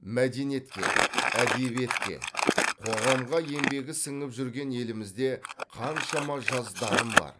мәдениетке әдебиетке қоғамға еңбегі сіңіп жүрген елімізде қаншама жас дарын бар